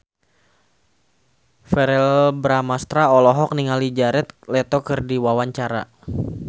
Verrell Bramastra olohok ningali Jared Leto keur diwawancara